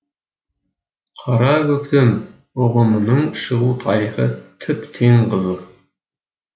қара көктем ұғымының шығу тарихы тіптен қызық